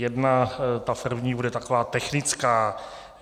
Jedna, ta první, bude taková technická.